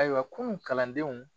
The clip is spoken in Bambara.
Ayiwa kunun kalandenw